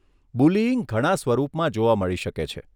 Bullying ઘણા સ્વરૂપમાં જોવા મળી શકે છે.